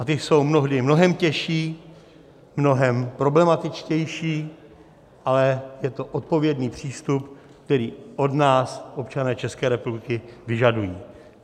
A ty jsou mnohdy mnohem těžší, mnohem problematičtější, ale je to odpovědný přístup, který od nás občané České republiky vyžadují.